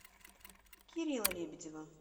кирилла лебедева